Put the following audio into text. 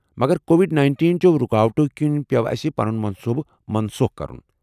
مگر Covid nineteen چَو رُکاوٹو كِنۍ پیوٚو اسہِ پنُن منصوٗبہٕ منسوخ کرُن